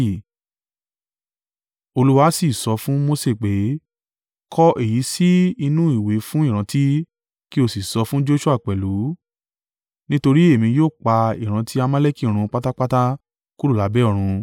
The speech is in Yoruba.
Olúwa sì sọ fun Mose pé. “Kọ èyí sì inú ìwé fún ìrántí, kí o sì sọ fún Joṣua pẹ̀lú; nítorí èmi yóò pa ìrántí Amaleki run pátápátá kúrò lábẹ́ ọ̀run.”